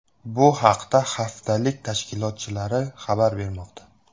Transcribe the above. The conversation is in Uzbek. Bu haqda haftalik tashkilotchilari xabar bermoqda.